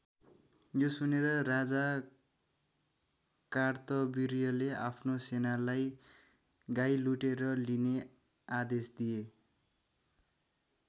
यो सुनेर राजा कार्तविर्यले आफ्नो सेनालाई गाई लुटेर लिने आदेश दिए।